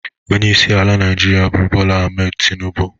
Ọnyeisi ala naijiria bụ Bola Ahmed Tinubụ.